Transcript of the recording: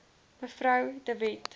mev de wet